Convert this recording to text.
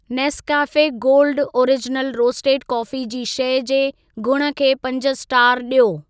Nescafe gold original roasted coffee जी शइ जे गुण खे पंज स्टार ॾियो।